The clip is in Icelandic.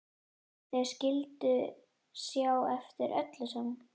Þau skyldu sjá eftir öllu saman.